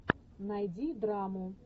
найди драму